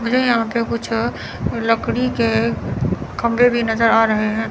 मुझे यहां पे कुछ लकड़ी के खंभे भी नजर आ रहे हैं।